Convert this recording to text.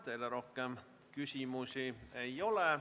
Teile rohkem küsimusi ei ole.